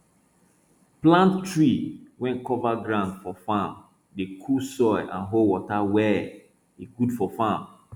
plant tree wey cover ground for farm dey cool soil and hold water well e good for farm